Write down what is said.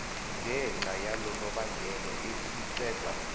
ngenca yalonobangela esiqeda